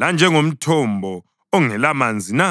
lanjengomthombo ongelamanzi na?